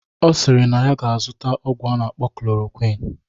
Ọ sịrị na ya ga-azụta ọgwụ a na-akpọ klorokwin